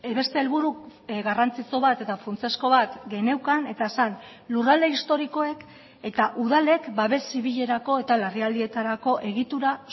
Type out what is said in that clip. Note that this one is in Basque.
beste helburu garrantzitsu bat eta funtsezko bat geneukan eta zen lurralde historikoek eta udalek babes zibilerako eta larrialdietarako egitura